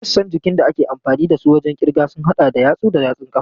Sassan jikin da ake amfani da su wajen kirga sun hada da yatsu da yatsun ƙafa.